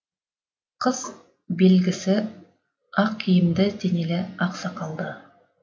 қыс белпсі ақ киімді денелі ақ сақалды